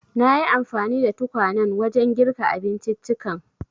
Nayi anfani da tukwanen wajen girka abinciccikan.